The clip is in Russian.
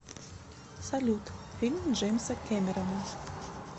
салют фильм джеймса кемерона